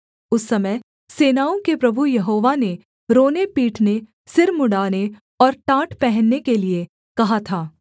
उस समय सेनाओं के प्रभु यहोवा ने रोनेपीटने सिर मुँण्ड़ाने और टाट पहनने के लिये कहा था